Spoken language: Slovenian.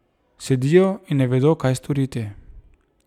Sedijo in ne vedo, kaj storiti.